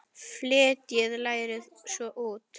Fletjið lærið svo út.